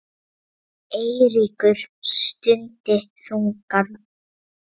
Eiríkur stundi þungan.